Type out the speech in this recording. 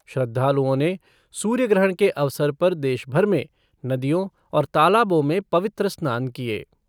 श्रद्वालुओं ने सूर्य ग्रहण के अवसर पर देशभर में नदियों और तालाबों में पवित्र स्नान किये।